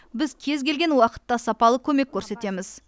біз кез келген уақытта сапалы көмек көрсетеміз